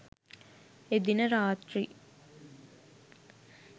එදින රාත්‍රි